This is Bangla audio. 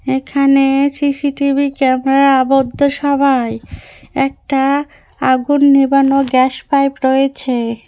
এখানে সি_সি টি_ভি ক্যামেরা আবদ্ধ সবাই একটা আগুন নেবানো গ্যাস পাইপ রয়েছে।